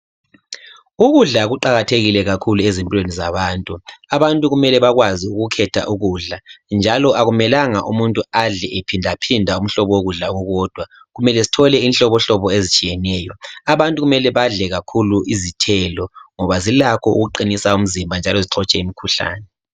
ukudla kuqakathekile kakhulu ezintweni zabantu abantu kumele bakwazi ukukhetha ukudla njalo akumelanga umuntu adle ephindaphinda umhlobo wokudla okukodwa kumele sithole inhlobonhlobo ezitshiyeneyo abantu kumele badle kakhulu izithelo ngoba zilakho ukuqinisa umzimba njalo zixotshe imikhuhlane